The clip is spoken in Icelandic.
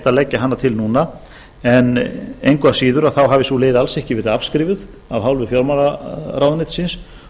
að leggja hana til núna en engu að síður hafi sú leið alls ekki verið afskrifuð af hálfu fjármálaráðuneytisins